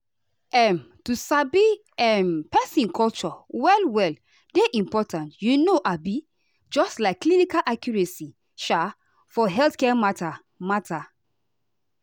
um to sabi um person culture well well dey important you know abi just like clinical accuracy um for healthcare matter. matter.